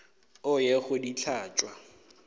o ye go di hlatswa